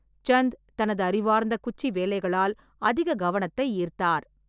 சந்த் தனது அறிவார்ந்த குச்சி வேலைகளால் அதிக கவனத்தை ஈர்த்தார்.